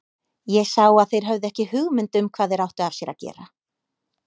Ég sá að þeir höfðu ekki hugmynd um hvað þeir áttu af sér að gera.